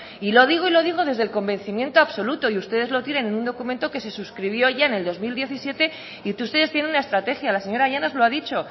y lo digo y lo digo desde el convencimiento absoluto y ustedes lo tienen ningún documento que se suscribió ya en el dos mil diecisiete y que ustedes tienen una estrategia la señora llanos lo ha dicho